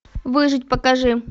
выжить покажи